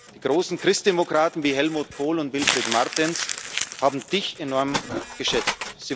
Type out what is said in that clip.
Die großen Christdemokraten wie Helmut Kohl und Wilfried Martens haben Dich enorm geschätzt.